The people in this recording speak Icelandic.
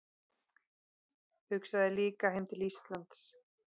Hugsaði líka heim til Íslands.